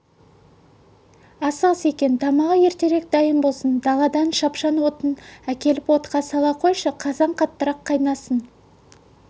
асығыс екен тамағы ертерек дайын болсын даладан шапшаң отын әкеліп отқа сала қойшы қазан қаттырақ қайнасын